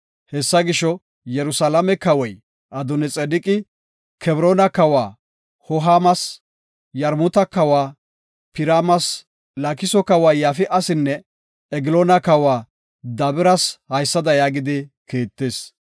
Hessa gisho, Yerusalaame kawoy Adooni-Xedeqi, Kebroona kawa Hoohamas, Yarmuta kawa Piraamas, Laakiso kawa Yafi7asinne, Egloona kawa Dabiras haysada yaagidi kiittis;